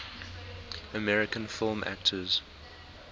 american film actors